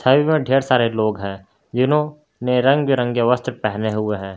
ढेर सारे लोग हैं जिन्हों ने रंग बिरंगे वस्त्र पहने हुए हैं।